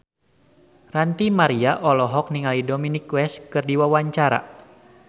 Ranty Maria olohok ningali Dominic West keur diwawancara